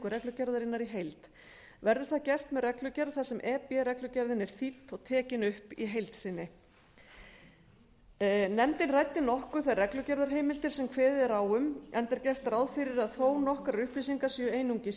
reglugerðarinnar í heild verður það gert með reglugerð þar sem e b reglugerðin er þýdd og tekin upp í heild sinni nefndin ræddi nokkuð þær reglugerðarheimildir sem kveðið er á um enda er gert ráð fyrir að þó nokkrar upplýsingar séu einungis í